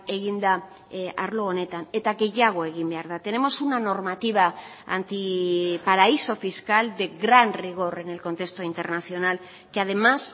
egin da arlo honetan eta gehiago egin behar da tenemos una normativa antiparaíso fiscal de gran rigor en el contexto internacional que además